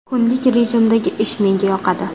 Kunlik rejimdagi ish menga yoqadi.